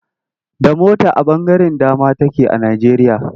Da mota a ɓangaren dama take a Najjeriya.